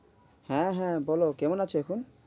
হ্যাঁ হ্যাঁ বলো কেমন আছো এখন?